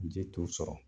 Ji t'u sɔrɔ